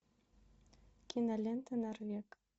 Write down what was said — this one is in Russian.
кинолента норвег